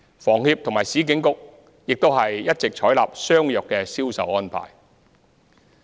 房協和市建局也一直採納相若的銷售安排。